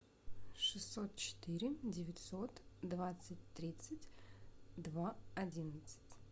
шестьсот четыре девятьсот двадцать тридцать два одиннадцать